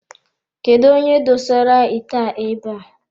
Kedụ onye dosere ite a abe a.